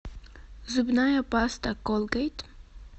зубная паста колгейт